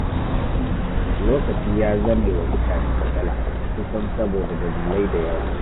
Lokaci ya zame wa mutane matsala, kusan saboda dalilai da yawa.